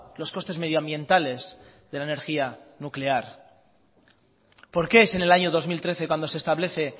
los costes medioambientales de la energía nuclear por qué es en el año dos mil trece cuando se establece